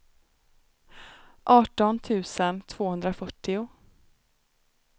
arton tusen tvåhundrafyrtio